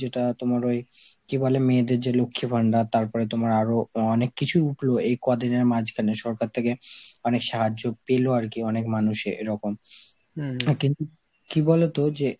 যেটা তোমার ওই কি বলে, মেয়েদের যেই লক্ষীর ভান্ডার, তারপরে তোমার আরো আঁ অনেক কিছুই উঠলো এই কদিনের মাঝখানে সরকার থেকে, মানে সাহায্য পেলে আর কি অনেক মানুষের এরকম, এ কিন্তু কি বলতো যে